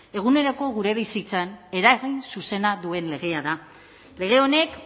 eguneroko gure bizitzan eragin zuzena duen legea da lege honek